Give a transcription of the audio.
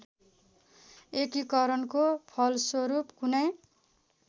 एकीकरणको फलस्वरूप कुनै